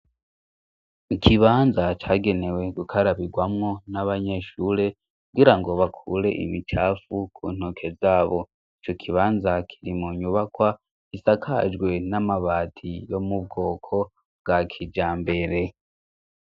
Ikibanza cagenewe gukarabigwamwo n'abanyeshure kugira ngo bakure imicafu ku ntoke zabo. Ico kibanza kirimwo inyubakwa isakajwe n'amabati yo mubwoko bwa kijambere.